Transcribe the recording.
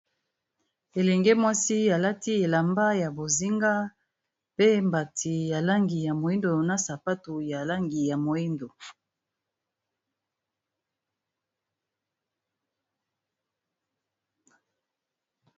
elenge mwasi alati elamba ya bozinga pe mbati ya langi ya moindo na sapatu ya langi ya moindo